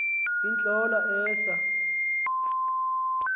iintlola esa r